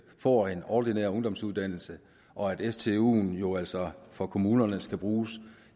får en ordinær ungdomsuddannelse og at stuen jo altså for kommunerne skal bruges